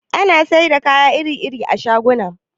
Ana siyar da kaya iri-iri a shaguna